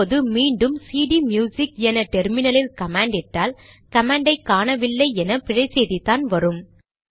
இப்போது மீண்டும் சிடிம்யுசிக் என டெர்மினலில் கமாண்ட் இட்டால் கமாண்டை காணவில்லை என்று பிழை செய்திதான் வரும்